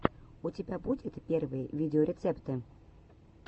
у тебя будет первые видеорецепты